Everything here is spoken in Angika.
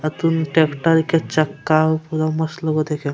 आ कूनू ट्रैक्टर के चक्का होअ पूरा मत लगे होअ देखे में।